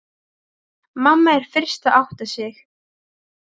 Mamma er fyrst að átta sig: